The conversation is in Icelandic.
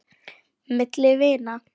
Milli vina.